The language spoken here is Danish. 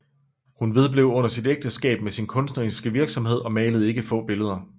Hun vedblev under sit ægteskab med sin kunstneriske virksomhed og malede ikke få billeder